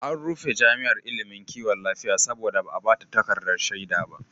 An rufe jami'ar ilimin kiwon lafiya saboda ba a ba ta takardar shaida ba.